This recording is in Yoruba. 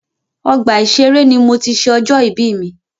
Ọgbà ìṣẹré ní mo tí ṣé ọjọ́ ìbí mi.